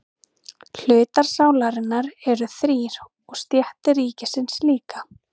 Hlutar sálarinnar eru þrír og stéttir ríkisins líka.